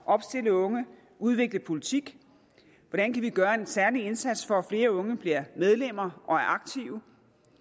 at opstille unge udvikle politik hvordan kan vi gøre en særlig indsats for flere unge bliver medlemmer og er aktive